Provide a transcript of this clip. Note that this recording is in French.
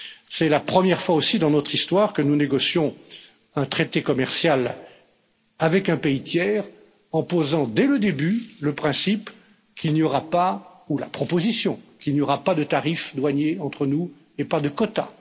C'est la première fois aussi dans notre histoire que nous négocions un traité commercial avec un pays tiers en posant dès le début le principe qu'il n'y aura pas, ou la proposition qu'il n'y aura pas, de tarifs douaniers entre nous et pas de quotas.